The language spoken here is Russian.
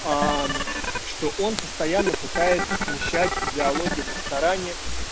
что он постоянно пытается смещать диалоги в ресторане